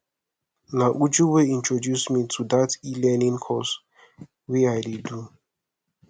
na uju wey introduce me to dat elearning course wey i dey do